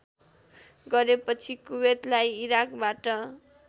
गरेपछि कुबेतलाई इराकबाट